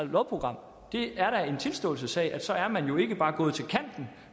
lovprogram det er da en tilståelsessag så er man jo ikke bare gået til kanten